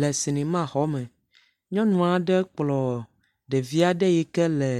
Le sinimaxɔ me. Nyɔnu aɖe kplɔ ɖevi aɖe yi ke le